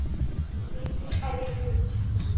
дмитрий олегович